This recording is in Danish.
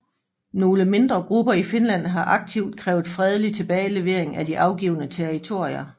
Nogle mindre grupper i Finland har aktivt krævet fredelig tilbagelevering af de afgivne territorier